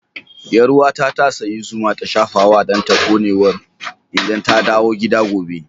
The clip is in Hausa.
Yarwa ta, ta sayi zuma ta shafa wa danta konewar idan ta dawo gida gobe.